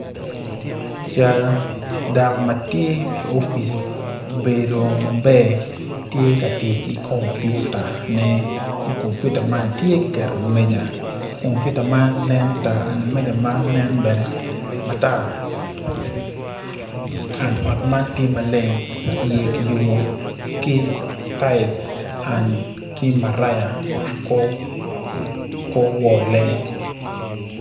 Cal dako ma tye i opic obedo maber tye ka tic ki kompiutane kompiuta man tye kiketo i wi meja kompiuta man tye ma tar wi meja bene tye matar